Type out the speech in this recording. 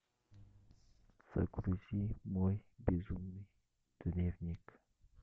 загрузи мой безумный дневник